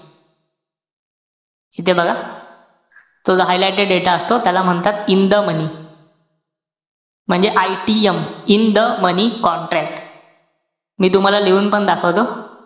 इथे बघा. तो जो highlighted data असतो, त्याला म्हणतात, in the money म्हणजे. ITM in the money contract मी तुम्हाला लिहून पण दाखवतो.